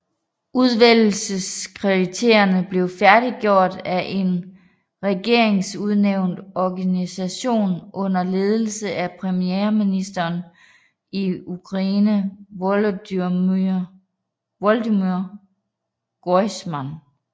Udvælgelseskriterierne blev færdiggjort af en regeringsudnævnt organisation under ledelse af premierministeren i Ukraine Volodymyr Grojsman